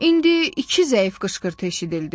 İndi iki zəif qışqırtı eşidildi.